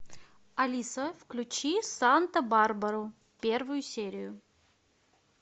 алиса включи санта барбару первую серию